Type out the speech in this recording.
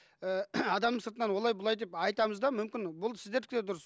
і адамның сыртынан олай былай деп айтамыз да мүмкін бұл сіздердікі де дұрыс